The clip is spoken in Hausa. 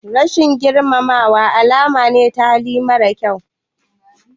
Rashin girmamawa alama ce ta hali mara kyau.